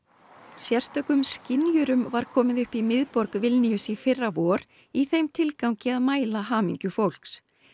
skynjurum var komið upp í miðborg Vilníus í fyrra vor í þeim tilgangi að mæla hamingju fólks